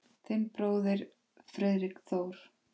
Þinn bróðir Friðrik Þór.